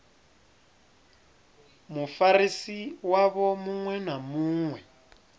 mufarisi wavho muṅwe na muṅwe